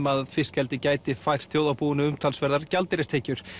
að fiskeldi gæti fært þjóðarbúinu umtalsverðar gjaldeyristekjur